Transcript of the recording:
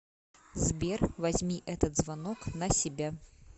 сбер возьми этот звонок на себя